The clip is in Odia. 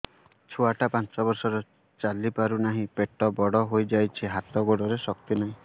ଛୁଆଟା ପାଞ୍ଚ ବର୍ଷର ଚାଲି ପାରୁ ନାହି ପେଟ ବଡ଼ ହୋଇ ଯାଇଛି ହାତ ଗୋଡ଼ରେ ଶକ୍ତି ନାହିଁ